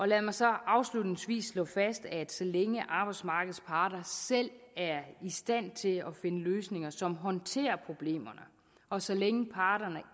lad mig så afslutningsvis slå fast at så længe arbejdsmarkedets parter selv er i stand til at finde løsninger som håndterer problemerne og så længe parterne